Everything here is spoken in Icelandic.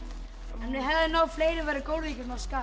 við hefðum náð fleirum væri gólfið ekki svona skakkt